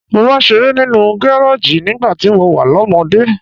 Mo máa ń ṣeré nínú gareji nígbà tí mo wà lọ́mọdé.